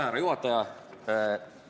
Härra juhataja!